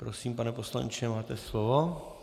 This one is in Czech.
Prosím, pane poslanče, máte slovo.